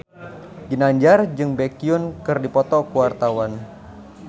Ginanjar jeung Baekhyun keur dipoto ku wartawan